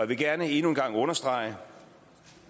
vil gerne endnu en gang understrege